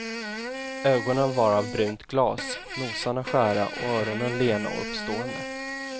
Ögonen var av brunt glas, nosarna skära och öronen lena och uppstående.